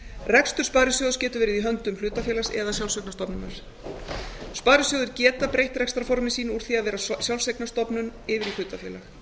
rekstur sparisjóðs getur verið í höndum hlutafélags eða sjálfseignarstofnunar sparisjóðir geta breytt rekstrarformi sínu úr því að vera sjálfseignarstofnun yfir í hlutafélag